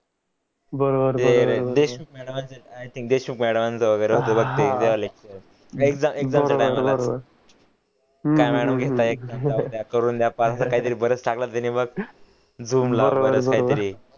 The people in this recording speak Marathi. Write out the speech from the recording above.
बर बर देशूक मॅडम बर बर करून द्या काहीतरी